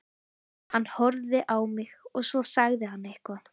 Hann horfði á mig og svo sagði hann eitthvað.